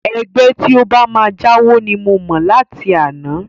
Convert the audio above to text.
Ẹgbẹ́ tí ó bá máa jáwo ni mo mọ̀ láti àná